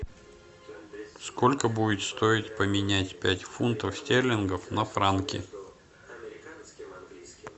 сколько будет стоить поменять пять фунтов стерлингов на франки